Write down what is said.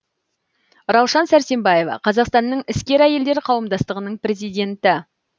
раушан сәрсенбаева қазақстанның іскер әйелдер қауымдастығының президенті